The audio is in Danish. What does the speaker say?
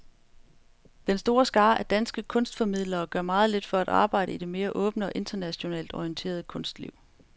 Den store skare af danske kunstformidlere gør meget lidt for at arbejde i det mere åbne og internationalt orienterede kunstliv.